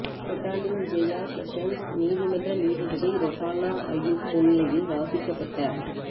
Petaling Jaya sessions நீதிமன்ற நீதிபதி Rohana Ayub முன்னிலையில் வாசிக்கப்பட்ட